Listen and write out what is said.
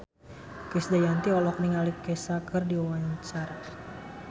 Krisdayanti olohok ningali Kesha keur diwawancara